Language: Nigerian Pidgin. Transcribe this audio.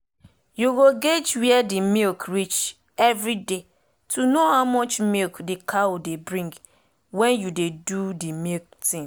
u go guage were d milk reach every day to know how much milk d cow dey bring wen u dey do de milk tin